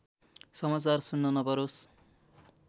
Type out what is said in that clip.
समाचार सुन्न नपरोस्